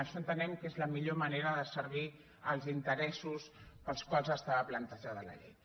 això entenem que és la millor manera de servir els interessos pels quals estava plantejada la llei